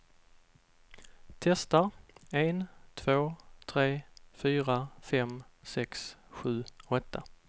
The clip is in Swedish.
Testar en två tre fyra fem sex sju åtta.